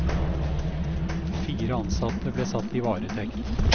Fire ansatte ble satt i varetekt.